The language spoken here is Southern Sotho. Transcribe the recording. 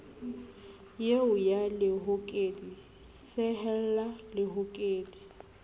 eo ya lehokedi sehella lehokedi